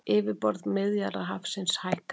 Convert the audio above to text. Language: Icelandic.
Yfirborð Miðjarðarhafsins hækkar